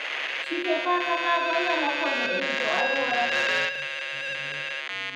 Chike ma kamago nyalo konyo e rito aluora.